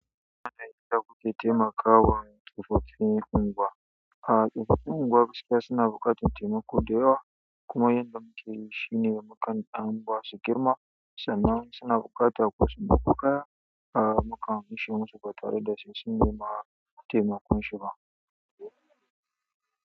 Ana iya ƙoƙarin taimakawa tsofaffin unguwa. A tsofaffin unguwar gaskiya suna buƙatar taimako da yawa. Kuma yadda muke yi shine mukan an ba su girma sannan suna buƙata wasu kaya. Ah mukan basu ba tare da sai sun nema taimakon shi ba.